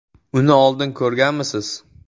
Uni oldin ko‘rganmisiz?